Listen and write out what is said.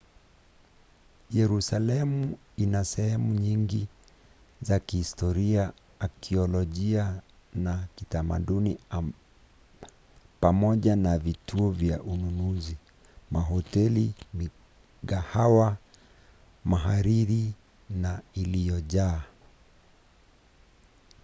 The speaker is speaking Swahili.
yerusalemu ina sehemu nyingi za kihistoria akiolojia na kitamaduni pamoja na vituo vya ununuzi mahoteli na migahawa mahariri na iliyojaa